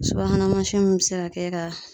Subahana mansinw bɛ se ka kɛ ka